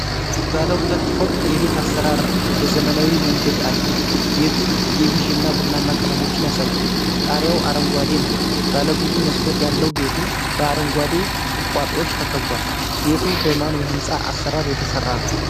ባለ ሁለት ፎቅ የቤት አሠራር በዘመናዊ መንገድ አለ። ቤቱ የቢዥ እና ቡናማ ቀለሞችን ያሳያል፤ ጣሪያው አረንጓዴ ነው። ባለብዙ መስኮት ያለው ቤቱ በአረንጓዴ ቁጥቋጦዎች ተከቧል። ቤቱ በማን የሕንፃ አሠራር የተሠራ ነው?